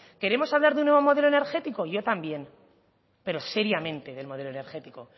queremos hablar de un nuevo modelo energético yo también pero seriamente del modelo energético